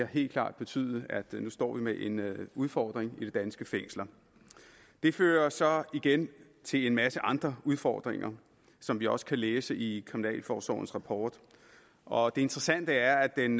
helt klart betydet at vi nu står med en udfordring i de danske fængsler det fører så igen til en masse andre udfordringer som vi også kan læse i kriminalforsorgens rapport og det interessante er at den